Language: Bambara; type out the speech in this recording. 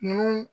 N'u